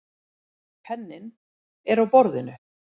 Penninn er á borðinu.